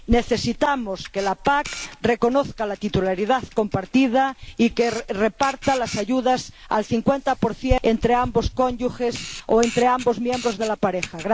Necesitamos que la PAC reconozca la titularidad compartida y que reparta las ayudas al 50 entre ambos cónyuges o entre ambos miembros de la pareja.